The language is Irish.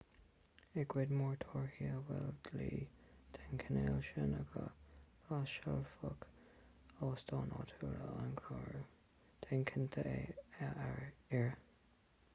i gcuid mhór tíortha a bhfuil dlí den chineál sin acu láimhseálfaidh óstáin áitiúla an clárú déan cinnte é a iarraidh